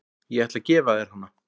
Ég ætla að gefa þér hana.